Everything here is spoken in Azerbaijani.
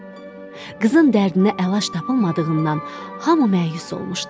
Qızın dərdinə əlac tapılmadığından hamı məyus olmuşdu.